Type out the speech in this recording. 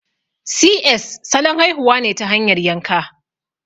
Si ƴes' salon haihuwa ne ta hanyar yanka